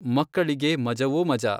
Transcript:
ಮಕ್ಕಳಿಗೆ ಮಜವೋ ಮಜಾ.